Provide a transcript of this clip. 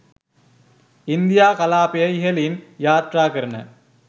India කලාපය ඉහළින් යාත්‍රාකරන